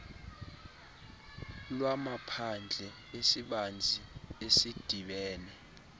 lwamaphandle esibanzi esidibene